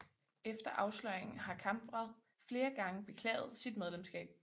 Efter afsløringen har Kamprad flere gange beklaget sit medlemskab